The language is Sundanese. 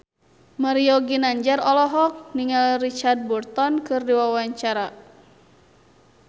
Mario Ginanjar olohok ningali Richard Burton keur diwawancara